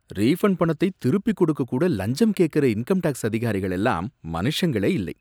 refund பணத்தைத் திருப்பிக் குடுக்கக் கூட லஞ்சம் கேக்குற இன்கம் டேக்ஸ் அதிகாரிகள் எல்லாம் மனுஷங்களே இல்லை